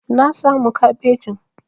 Na samu kabejin.